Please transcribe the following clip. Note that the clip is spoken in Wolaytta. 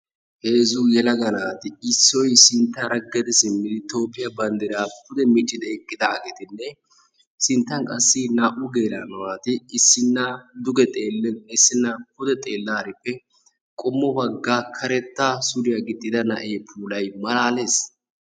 heezzu yelaga naati ha asati cadiidi de'iyo koyro tokketidaagee de'iyo koyro sinttan qassi xeelaarippe na'ee puulay malaalees.